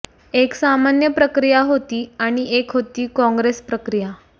एक सामान्य प्रक्रिया होती आणि एक होती काँग्रेस प्रक्रिया